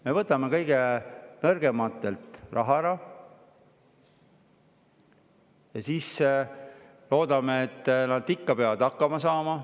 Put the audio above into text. Me võtame kõige nõrgematelt raha ära ja siis loodame, et nad saavad ikka hakkama.